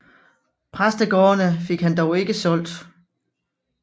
Præstegårdene fik han dog ikke solgt